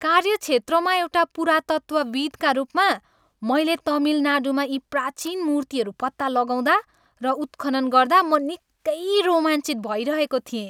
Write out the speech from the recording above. कार्यक्षेत्रमा एउटा पुरातत्त्वविद्का रूपमा, मैले तमिल नाडुमा यी प्राचीन मुर्तिहरू पत्ता लगाउँदा र उत्खनन् गर्दा म निकै रोमाञ्चित भइरहेको थिएँ।